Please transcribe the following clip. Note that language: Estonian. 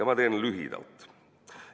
Ma teen lühidalt.